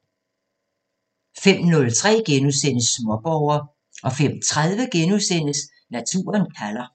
05:03: Småborger * 05:30: Naturen kalder *